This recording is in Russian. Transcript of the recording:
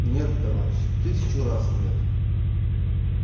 нет товарищи тысячу раз нет